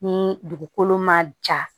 Ni dugukolo ma ja